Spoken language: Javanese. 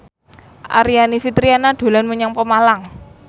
Aryani Fitriana dolan menyang Pemalang